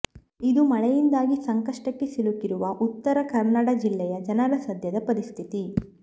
ಇದು ಮಳೆಯಿಂದಾಗಿ ಸಂಕಷ್ಟಕ್ಕೆ ಸಿಲುಕಿರುವ ಉತ್ತರಕನ್ನಡ ಜಿಲ್ಲೆಯ ಜನರ ಸದ್ಯದ ಪರಿಸ್ಥಿತಿ